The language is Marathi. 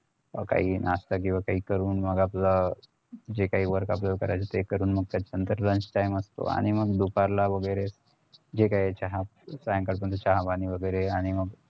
काही नाश्ता किंवा काही करून मग आपलं जे काही work आपल्याला करायचं ते करून मग त्याच्या नंतर lunch time असतो आणि मग दुपारला वगैरे जे काही चहा चहा पाणी वगैरे